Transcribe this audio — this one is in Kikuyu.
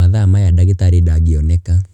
Mathaa mayaa ndagitarĩ ndangeoneka.